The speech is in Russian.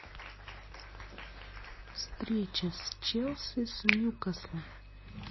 встреча с челси с ньюкаслом